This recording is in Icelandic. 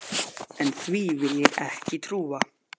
En því vil ég ekki trúa.